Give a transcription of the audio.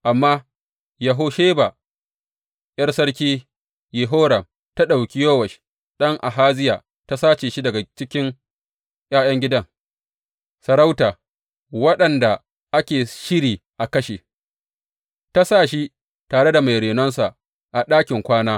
Amma Yehosheba, ’yar Sarki Yehoram, ta ɗauki Yowash ɗan Ahaziya ta sace shi daga cikin ’ya’yan gidan sarauta waɗanda ake shiri a kashe, ta sa shi tare da mai renonsa a ɗakin kwana.